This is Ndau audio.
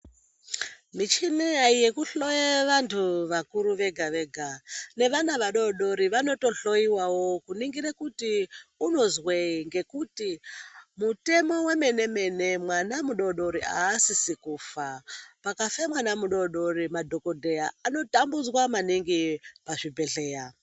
Michina yekuhloye vantu vakuru vega vega nevana vadodori vanotohloiwawo kuningire kuti unozwei ngekuti mutemo wemene mene mwana mudodori aasisi kufa pakafe mwana mudodori madhokodheya anotambudzwa maningi pazvibhedhleya.